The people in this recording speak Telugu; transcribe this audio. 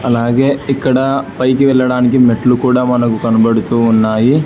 అలాగే ఇక్కడ పైకి వెళ్లడానికి మెట్లు కూడా మనకు కనబడుతూ ఉన్నాయి.